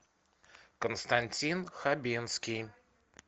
константин хабенский